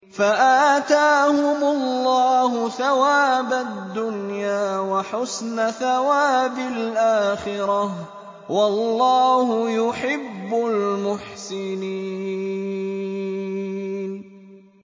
فَآتَاهُمُ اللَّهُ ثَوَابَ الدُّنْيَا وَحُسْنَ ثَوَابِ الْآخِرَةِ ۗ وَاللَّهُ يُحِبُّ الْمُحْسِنِينَ